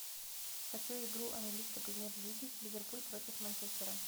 хочу игру английской премьер лиги ливерпуль против манчестера